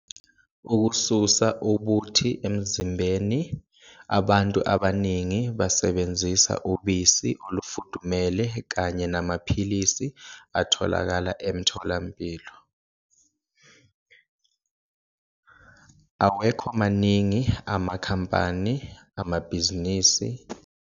Ukususa ubuthi emzimbeni, abantu abaningi basebenzisa ubisi olufudumele kanye namaphilisi atholakala emtholampilo. Awekho maningi amakhampani amabhizinisi.